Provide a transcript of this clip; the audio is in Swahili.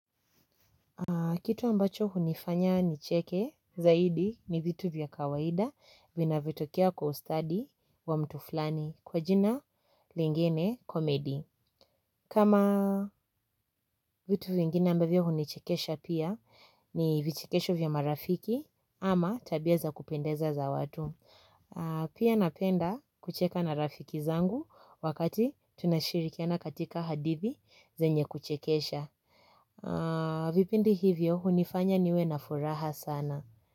Kitu ambacho hunifanya nicheke zaidi ni vitu vya kawaida vinavyotokea kwa ustadi wa mtu fulani kwa jina lingine komedi. Kama vitu vingine ambavyo hunichekesha pia ni vichekesho vya marafiki ama tabia za kupendeza za watu. Pia napenda kucheka na rafiki zangu wakati tunashirikiana katika hadithi zenye kuchekesha. Vipindi hivyo hunifanya niwe nafuraha sana.